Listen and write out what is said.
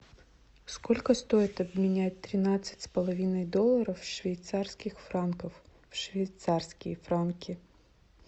сколько стоит обменять тринадцать с половиной долларов в швейцарских франков в швейцарские франки